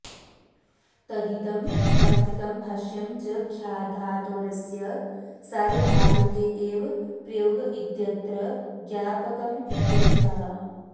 तदिदं वार्तिकं भाष्यं च ख्याधातोरस्य सार्वधातुके एव प्रयोग इत्यत्र ज्ञापकमित्यर्थः